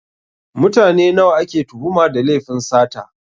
Mutane nawa ake tuhuma da lefin sata?